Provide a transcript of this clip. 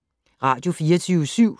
Radio24syv